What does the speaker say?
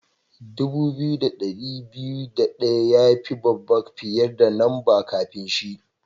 Dubu biyu da dari biyu da daya ya yi babba fiyar da lamba'n kafin shi.